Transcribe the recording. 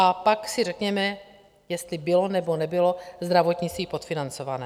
A pak si řekněme, jestli bylo, nebo nebylo zdravotnictví podfinancované.